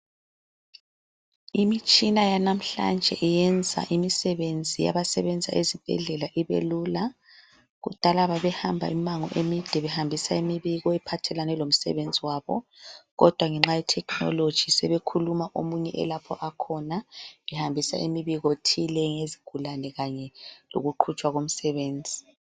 Imitshina yanamhlanje eyenza imisebenzi yabasebenza ezibhedlela ibe lula. Kudala babehamba imango emide behambisa imibiko ephathelane lomsebenzi wabo kodwa ngenxa yethekhinoloji sebekhuluma omunye elapho okhona ehambisa imibiko thile ngesigulane kanye lokuqhutshwa komsebenzi.